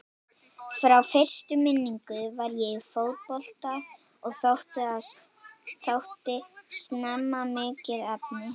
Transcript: Frá fyrstu minningu var ég í fótbolta og þótti snemma mikið efni.